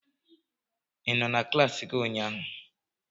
Ị nọ na klassi gị ụnyaahụ?